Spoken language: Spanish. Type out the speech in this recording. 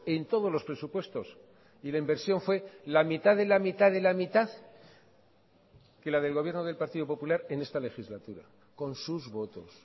en todos los presupuestos y la inversión fue la mitad de la mitad de la mitad que la del gobierno del partido popular en esta legislatura con sus votos